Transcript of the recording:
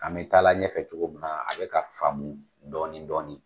An bi taa la ɲɛfɛ cogo min na, a be ka faamu dɔɔni dɔɔni.